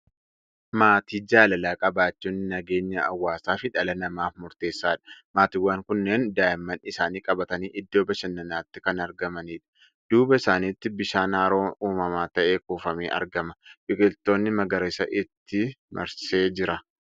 Maatii jaalalaa qabaachuun nageenya hawaasaa fi dhala namaaf murteessaadha. Maatiiwwan kunneen daa'imman isaanii qabatanii iddoo bashannanaatti kan argamanidha. Duuba isaaniitti bishaan haroo uumamaa ta'e kuufamee argama. Biqiltoonni magariisaa itti marsee jira.